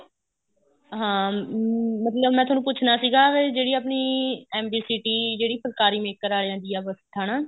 ਹਾਂ ਹਮ ਮਤਲਬ ਮੈਂ ਤੁਹਾਨੂੰ ਪੁੱਛਣਾ ਸੀਗਾ ਜਿਹੜੀ ਆਪਣੀ MB city ਜਿਹੜੀ ਫੁਲਕਾਰੀ maker ਆ ਜਾਂਦੀ ਆ